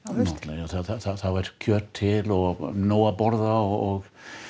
já þá var kjöt til og nóg að borða og